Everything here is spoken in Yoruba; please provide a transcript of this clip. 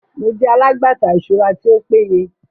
Mo jẹ alagbata iṣura ti o peye